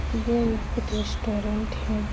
यह एक रेस्टोरेंट है।